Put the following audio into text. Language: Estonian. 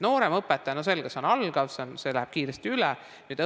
Nooremõpetaja, selge, on algaja, see läheb kiiresti mööda.